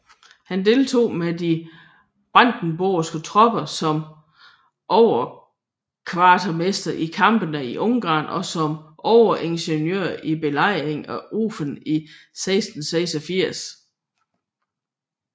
Han deltog med de brandenborgske tropper som overkvartermester i kampene i Ungarn og som overingeniør i belejringen af Ofen 1686